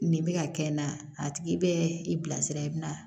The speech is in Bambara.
Nin bɛ ka kɛ n na a tigi bɛ i bilasira i bɛ na